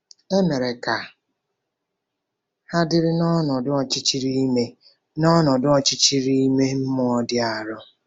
E mere ka ha dịrị n’ọnọdụ ọchịchịrị ime n’ọnọdụ ọchịchịrị ime mmụọ dị arọ.